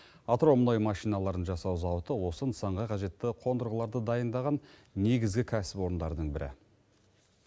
атырау мұнай машиналарын жасау зауыты осы нысанға қажетті қондырғыларды дайындаған негізгі кәсіпорындардың бірі